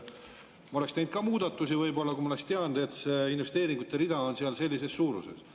Ma oleksin teinud ka muudatusi võib-olla, kui ma oleksin teadnud, et see investeeringute rida on seal sellises suuruses.